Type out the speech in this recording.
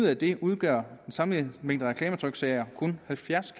af det udgør den samlede mængde reklametryksager kun halvfjerds